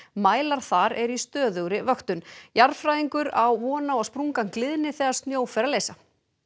mælar þar eru í stöðugri vöktun jarðfræðingur á von á að sprungan gliðni þegar snjó fer að leysa